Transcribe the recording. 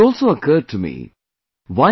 It also occurred to me...